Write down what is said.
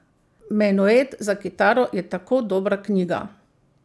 Menuet za kitaro je tako dobra knjiga.